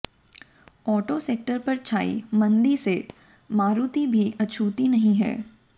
auto sector पर छाई मंदी से मारुति भी अछूती नहीं है